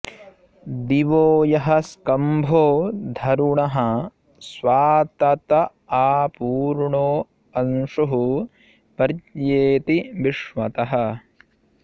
दिवो यः स्कम्भो धरुणः स्वातत आपूर्णो अंशुः पर्येति विश्वतः